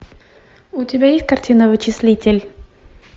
у тебя есть картина вычислитель